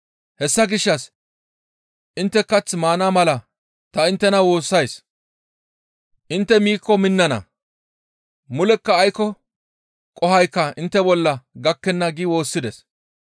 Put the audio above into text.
Hessa gishshas intte kath maana mala ta inttena woossays; intte miikko minnana; mulekka aykko qohoykka intte bolla gakkenna» gi woossides.